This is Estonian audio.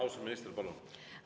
Austatud minister, palun!